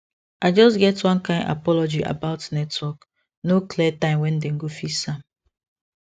i just get one kind apology about network no clear time when dem go fix am